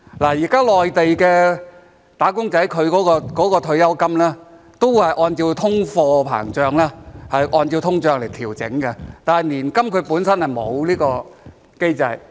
現時內地"打工仔"的退休金都是按照通貨膨脹來調整的，但是年金本身就沒有這個機制。